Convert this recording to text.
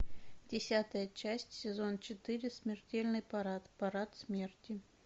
десятая часть сезон четыре смертельный парад парад смерти